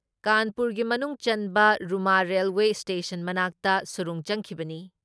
ꯀꯥꯟꯄꯨꯔꯒꯤ ꯃꯅꯨꯡꯆꯟꯕ Rooma railway station ꯃꯅꯥꯛꯇ ꯁꯨꯔꯨꯡ ꯆꯪꯈꯤꯕꯅꯤ ꯫